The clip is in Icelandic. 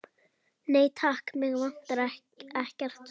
Nei, takk, mig vantar ekkert.